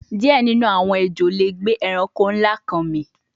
Diẹ ninu awọn ejo le gbe ẹranko nla kan mì)